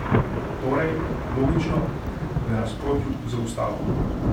Torej, logično, v nasprotju z ustavo.